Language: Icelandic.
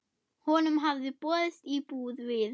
Honum hafði boðist íbúð við